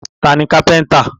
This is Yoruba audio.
Ta ni kápẹ́ńtà?